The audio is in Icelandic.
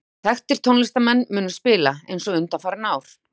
Þekktir tónlistarmenn munu spila, eins og undanfarin ár.